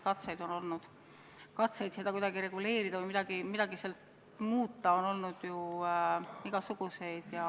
Katseid seda valdkonda kuidagi reguleerida, midagi muuta on ju olnud igasuguseid ennegi.